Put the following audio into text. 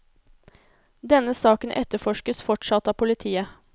Denne saken etterforskes fortsatt av politiet.